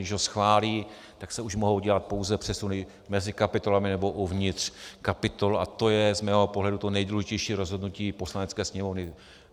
Když ho schválí, tak se už mohou dělat pouze přesuny mezi kapitolami nebo uvnitř kapitol a to je z mého pohledu to nejdůležitější rozhodnutí Poslanecké sněmovny.